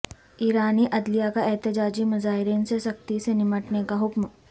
ایرانی عدلیہ کا احتجاجی مظاہرین سے سختی سے نمٹنے کا حکم